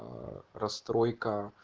расстройка